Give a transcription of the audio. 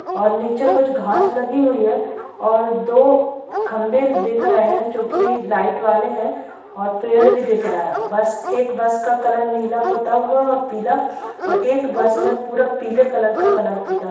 और नीचे कुछ घांस लगी हुई है और दो खंबे दिख रहें हैं जोकि लाइट वाले हैं और पेड़ भी दिख रहा है बस एक बस का कलर नीला पुता हुआ है और पीला और एक बस में पूरा पीले कलर का कलर पुता--